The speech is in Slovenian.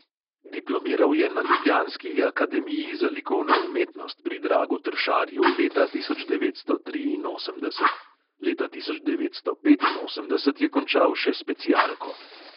Diplomiral je na ljubljanski akademiji za likovno umetnost pri dragu tršarju leta tisoč devetsto triinosemdeset; leta tisoč devetsto petinosemdeset je končal še specialko.